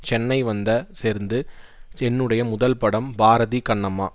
சென்னை வந்த சேர்ந்து என்னுடைய முதல் படம் பாரதி கண்ணம்மா